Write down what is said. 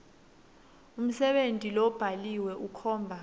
umsebenti lobhaliwe ukhomba